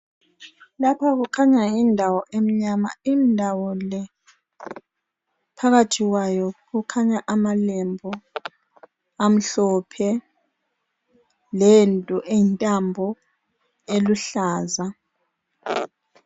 Lapho kukhanya yindawo emnyama indawo lephakathi kwayo kukhanya amalebhu amhlophe lento eyintambo eluhlaza.